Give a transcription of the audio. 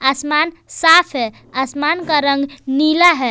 आसमान साफ है आसमान का रंग नीला है।